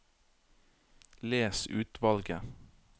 Les utvalget